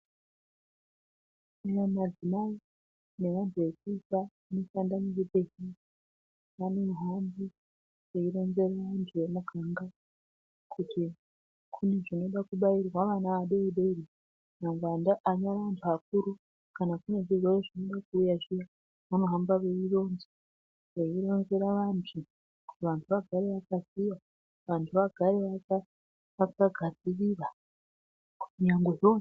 Kunyanya madzimai nevandu vanoshande muzvibhedhlera vanohamba veyironzere vandu vemumaganga kuti kune zvinoda kubairwa vana vadoodori nyangwe iwona vanhu vakuru kana kuine zvitenda zvinoda kuuya zviya vanohamba veyironza veyirayira vandu kuti vandu vagare vakaziya vagare vakagadzirira kunyangwe zvoo.